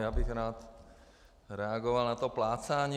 Já bych rád reagoval na to plácání.